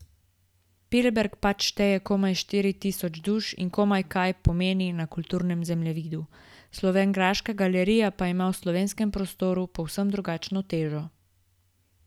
Pliberk pač šteje komaj štiri tisoč duš in komaj kaj pomeni na kulturnem zemljevidu, slovenjgraška galerija pa ima v slovenskem prostoru povsem drugačno težo.